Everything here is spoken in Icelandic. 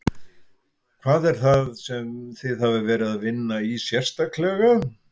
Hvað er það sem þið hafið verið að vinna í sérstaklega?